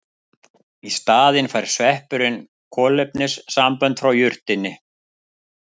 Í staðinn fær sveppurinn kolvetnissambönd frá jurtinni.